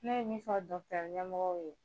Ne ye nin fɔ ɲɛmɔgɔw ye